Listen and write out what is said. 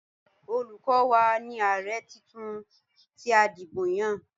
Olukọ́ wa ni ààrẹ titun tí a dìbò yàn.